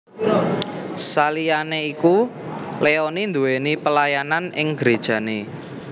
Saliyané iku Leony nduwéni pelayanan ing grejané